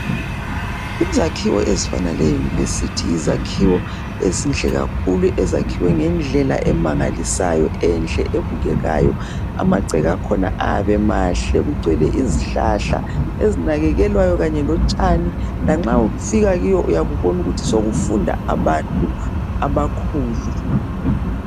Izakhiwo ezifana leUniversity yizakhiwo ezinhle kakhulu, ezakhiwe ngendlela emangalisayo, enhle ebukekayo. Amagceke akhona ayabe emahle kugcwele izihlala ezinakekelwayo kanye lotshani. Lanxa ufika kuyo uyabe ubona ukuthi sokufunda abantu abakhulu.